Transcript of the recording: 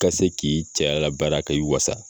Ka se k'i cɛya labaara k'i wasa